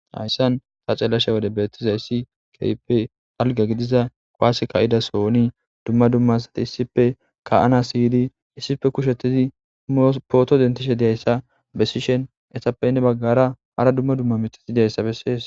Hayssan besizayssi kehippe dalga gigida kuwase ka'iza sohoz kasancha to issippe gididi ka'ana photo dendishshe detes.etappe heni bagara hara dumma dumma miththati bettetes.